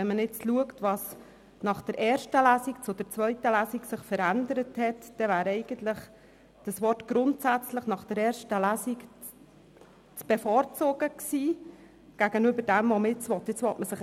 Wenn man nun schaut, was sich zwischen der ersten und der zweiten Lesung verändert hat, wäre das Wort «grundsätzlich» nach der ersten Lesung gegenüber dem, was man jetzt will, zu bevorzugen gewesen.